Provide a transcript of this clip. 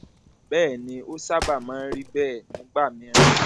bẹẹ ni ó sábà máa ń rí bẹẹ nígbà mìíràn